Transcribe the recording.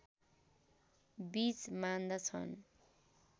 बीच मान्दछन्